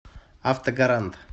автогарант